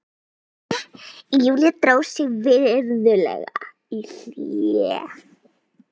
Júlía dró sig virðulega í hlé.